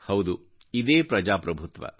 ಹೌದು ಇದೇ ಪ್ರಜಾ ಪ್ರಭುತ್ವ